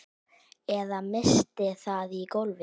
Eða missti það í gólfið.